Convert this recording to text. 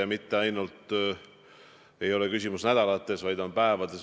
Asjade seis ei muutu mitte nädalate, vaid päevadega.